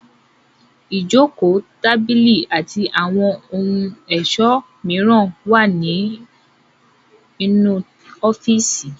Ìjókòó, tábìlì àti àwọn ohun ẹ̀sọ́ mìíràn máa ń wà nínú ọ́fíísì.